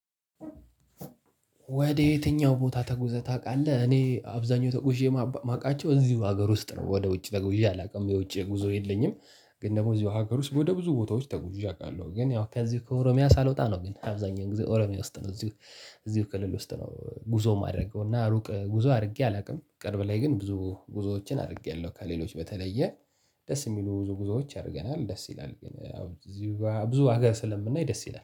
ወደ የትኛው? ቦታ ተጉዘህ ታውቃለህ እኔ አብዛኛው ተጉዤ የማቃቸው እዚሁ ሀገር ውስጥ ነው ወደ ውጭ ተጎዥ አላውቅም የውጭ ጉዞ የለኝም። ግን ደግሞ እዚሁ ሀገር ውስጥ ወደ ብዙ ቦታዎች ተጎዥ አውቃለሁ። ግን ያው ከዚህ ከኦሮሚያ ሳልወጣ ነው ግን አብዛኛው ጊዜ ኦሮሚያ ውስጥ ነው። እዚሁ እዚሁ ከልል ውስጥ ነው። ጉዞ ማደረገው እና ሩቅ ጉዞ አድርጌ አላውቅም። ቅርብ ላይ ግን ብዙ ጉዞዎችን አድርጌያለሁ። ከሌሎች በተለየ ደስ የሚሉ ብዙ ጉዞዎች አድርገናል። ደስ ይላል ግን እዚሁ ብዙ ሀገር ስለምናይ ደስ ይላል